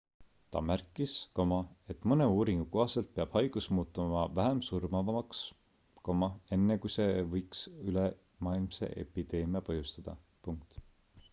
ta märkis et mõne uuringu kohaselt peab haigus muutuma vähem surmavaks enne kui see võiks ülemaailmse epideemia põhjustada